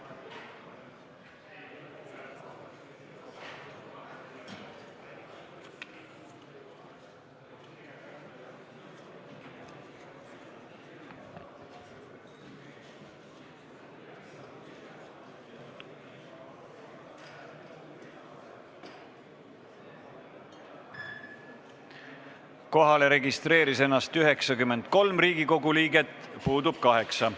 Kohaloleku kontroll Kohalolijaks registreeris ennast 93 Riigikogu liiget, puudub 8.